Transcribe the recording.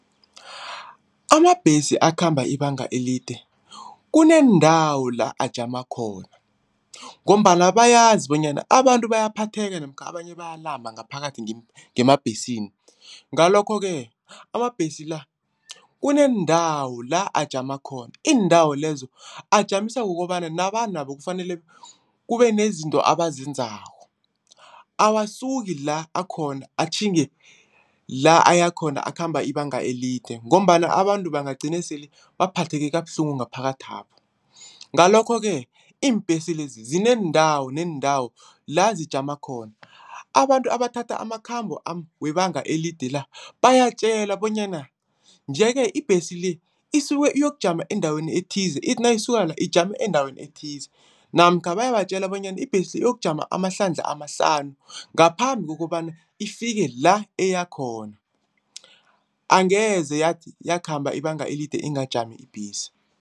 Amabhesi akhamba ibanga elide, kuneendawo la ajama khona ngombana bayazi bonyana abantu bayaphatheka namkha abanye bayalamba ngaphakathi ngemabhesini. Ngalokho-ke amabhesi la kuneendawo la ajama khona iindawo lezo ajamiswa kukobana nabantu nabo kufanele kube nezinto abazenzako. Awasuki la akhona atjhinge la ayakhona akhamba ibanga elide ngombana abantu bangagcina sele baphatheke kabuhlungu ngaphakathapho. Ngalokho-ke iimbhesi lezi zinendawo neendawo la zijama khona. Abantu abathatha amakhambo webanga elide la bayatjelwa bonyana nje-ke ibhesi le isuke iyokujama endaweni ethize, ithi nayisuka la ijame endaweni ethize namkha bayabatjela bonyana ibhesi iyokujama amahlandla amahlanu ngaphambi kokobana ifike la iyakhona. Angeze yakhamba ibanga elide ingajami ibhesi.